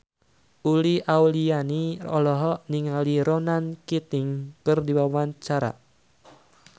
Uli Auliani olohok ningali Ronan Keating keur diwawancara